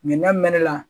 n'a mɛnna